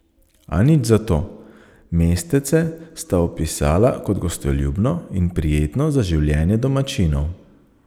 A nič zato, mestece sta opisala kot gostoljubno in prijetno za življenje domačinov.